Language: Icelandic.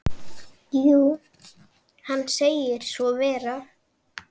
Jú, hann segir svo vera.